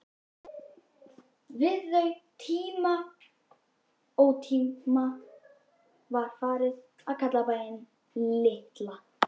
Við þau tímamót var farið að kalla bæinn Litla